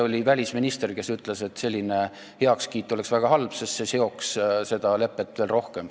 Justiitsministergi ütles, et selline heakskiit oleks väga halb, sest see seoks meid selle leppega veel rohkem.